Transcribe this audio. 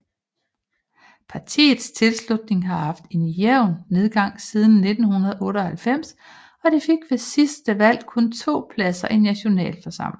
Partiets tilslutning har haft en jævn nedgang siden 1998 og de fik ved sidste valg kun 2 pladser i nationalforsamlingen